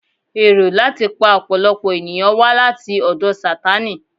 Èrò láti pa ọ̀pọ̀lọpọ̀ ènìyàn wá láti ọ̀dọ̀ Sátánì